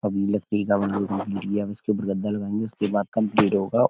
अभी लकड़ी का बना इसके ऊपर गद्दा लगाएंगे उसके बाद कम्पलीट होगा।